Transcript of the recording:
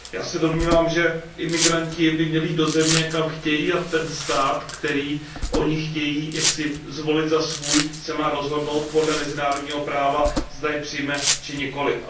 Já se domnívám, že migranti by měli jít do země, kam chtějí, a ten stát, který oni chtějí jaksi zvolit za svůj, se má rozhodnout podle mezinárodního práva, zda je přijme či nikoliv.